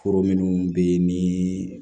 Foro minnu bɛ yen ni